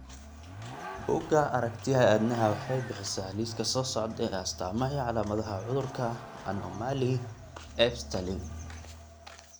Bugga Aragtiyaha Aadanaha waxay bixisaa liiska soo socda ee astaamaha iyo calaamadaha cudurka anomaly Ebstein.